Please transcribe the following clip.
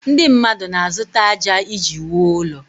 Ndị mmadụ na-azụta ájá iji wuo ụlọ